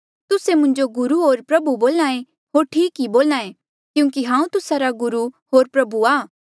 तुस्से मुंजो गुरू होर प्रभु बोल्हा ऐें होर ठीक ई बोल्हा ऐें क्यूंकि हांऊँ तुस्सा रा गुरु होर प्रभु आ